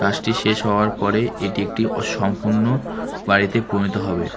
কাজটি শেষ হওয়ার পরে এটি একটি অসম্পূর্ণ বাড়িতে পরিণত হবে।